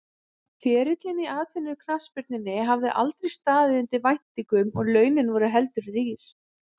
Ferillinn í atvinnuknattspyrnunni hafði aldrei staðið undir væntingum og launin voru heldur rýr.